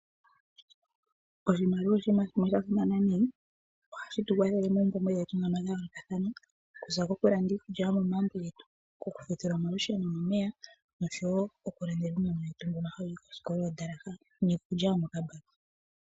Oshimaliwa oshiima shimwe shasimana nayi. Ohashi tukwathele moompumbwe dhetu dhayoolokathana ngaashi okulanda iikulya yomomagumbo getu, okuka fendela omalusheno nomeya noshowo oku landela uunona wetu mbono hawu yi koskola oondalaha niikulya yo mo kambaki